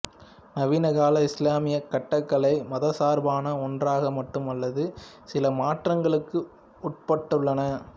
நவீன கால இஸ்லாமிய கட்டடக்கலை மதசார்பான ஒன்றாக மட்டுமல்லாது சில மாற்றங்களுக்கு உட்பபட்டுள்ளன